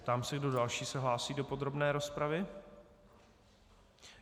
Ptám se, kdo další se hlásí do podrobné rozpravy.